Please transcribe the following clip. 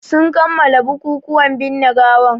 Sun kammala bukukuwan binne gawan